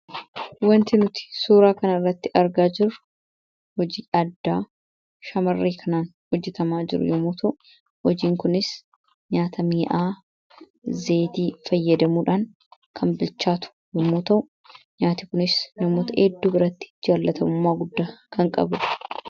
wanti nuti suuraa kana irratti argaa jiru hojii addaa shamarrii kanaan hojjetamaa jiru yoomootau hojiin kunis nyaata mii'aa zeetii fayyadamuudhaan kan bilchaatu yomoota nyaati kunis namoota edduu biratti jaallatamummaa guddaa kan qabudha